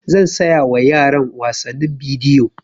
Zan saya wa yaran wasannin bidiyo